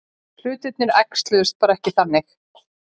Hlutirnir æxluðust bara ekki þannig.